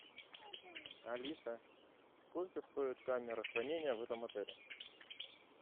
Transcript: алиса сколько стоит камера хранения в этом отеле